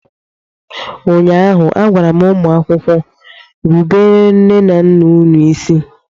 ụnyaahụ, a gwara m ụmụ akwụkwọ, rubere nne na nna unu isi!